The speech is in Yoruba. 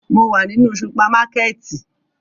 Mo wa ninu supamakẹti